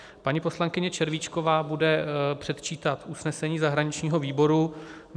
Paní poslankyně Červíčková bude předčítat usnesení zahraničního výboru.